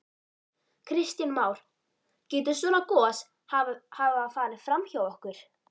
Kristján Már: Getur svona gos hafa farið fram hjá okkur?